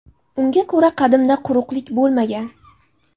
Unga ko‘ra, qadimda quruqlik bo‘lmagan.